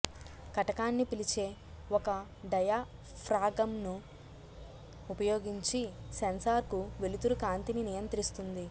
కటకాన్ని పిలిచే ఒక డయాఫ్రాగమ్ను ఉపయోగించి సెన్సార్కు వెలుతురు కాంతిని నియంత్రిస్తుంది